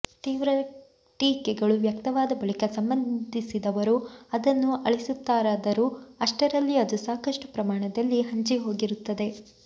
ತೀವ್ರ ಟೀಕೆಗಳು ವ್ಯಕ್ತವಾದ ಬಳಿಕ ಸಂಬಂಧಿಸಿದವರು ಅದನ್ನು ಅಳಿಸುತ್ತಾರಾದರೂ ಅಷ್ಟರಲ್ಲಿ ಅದು ಸಾಕಷ್ಟು ಪ್ರಮಾಣದಲ್ಲಿ ಹಂಚಿ ಹೋಗಿರುತ್ತದೆ